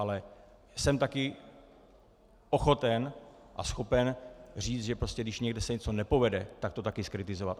Ale jsem taky ochoten a schopen říct, že prostě když někde se něco nepovede, tak to taky zkritizovat.